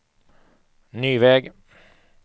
ny väg